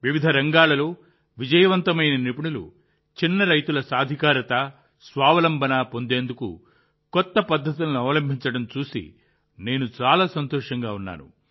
విభిన్న రంగాల్లో విజయవంతమైన నిపుణులు చిన్న రైతులు సాధికారత స్వావలంబన పొందేందుకు కొత్త పద్ధతులను అవలంబించడం చూసి నేను చాలా సంతోషంగా ఉన్నాను